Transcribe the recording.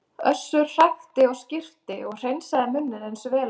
Össur hrækti og skyrpti og hreinsaði munninn eins vel og hann gat.